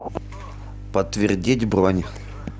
подтвердить бронь